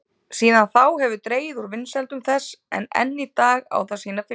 Síðan þá hefur dregið úr vinsældum þess en enn í dag á það sína fylgjendur.